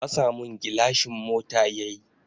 Fasa mun gilashin mota yayi